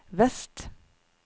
vest